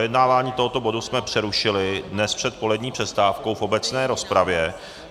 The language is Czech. Projednávání tohoto bodu jsme přerušili dnes před polední přestávkou v obecné rozpravě.